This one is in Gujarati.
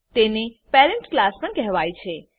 તેને પેરેન્ટ પેરેન્ટ ક્લાસ પણ કહેવાય છે